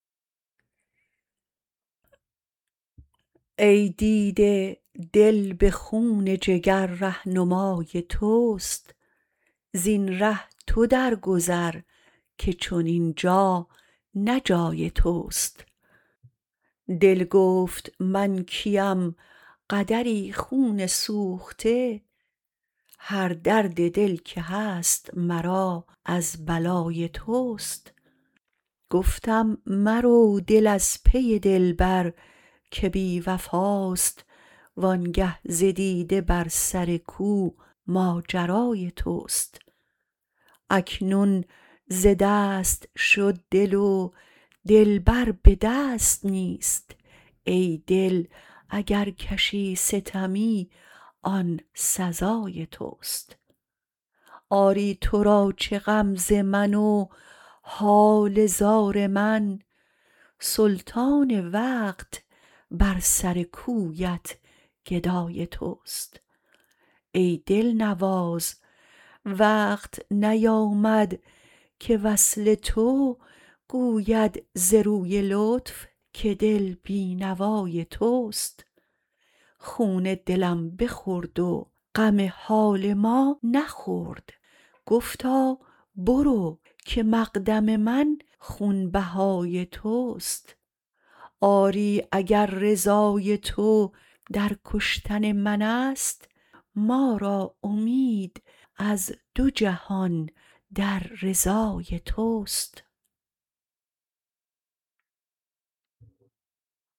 ای دیده دل به خون جگر رهنمای تست زین ره تو درگذر که چنین جا نه جای تست دل گفت من کیم قدری خون سوخته هر درد دل که هست مرا از بلای تست گفتم مرو دل از پی دلبر که بی وفاست وآنگه ز دیده بر سر کو ماجرای تست اکنون ز دست شد دل و دلبر به دست نیست ای دل اگر کشی ستمی آن سزای تست آری تو را چه غم ز من و حال زار من سلطان وقت بر سر کویت گدای تست ای دلنواز وقت نیامد که وصل تو گوید ز روی لطف که دل بی نوای تست خون دلم بخورد و غم حال ما نخورد گفتا برو که مقدم من خون بهای تست آری اگر رضای تو در کشتن منست ما را امید از دو جهان در رضای تست